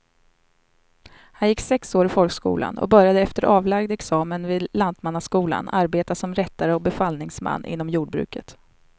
Han gick sex år i folkskolan och började efter avlagd examen vid lantmannaskolan arbeta som rättare och befallningsman inom jordbruket.